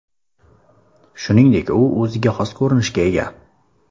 Shuningdek, u o‘ziga xos ko‘rinishga ega.